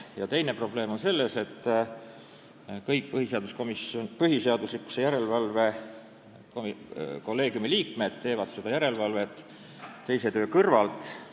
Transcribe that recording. Ja teine probleem on selles, et kõik põhiseaduslikkuse järelevalve kolleegiumi liikmed teevad seda järelevalvet muu töö kõrvalt.